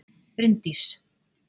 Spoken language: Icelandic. Bryndís